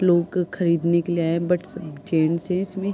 लोग खरीदने के लिए आए बट सब जेंट्स हैं इसमें।